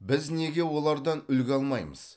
біз неге олардан үлгі алмаймыз